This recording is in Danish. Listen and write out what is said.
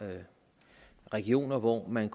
regioner hvor man